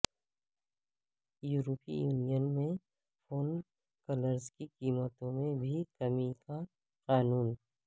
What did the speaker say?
یورپی یونین میں phone calls کی قیمتوں میں بھی کمی کا قانون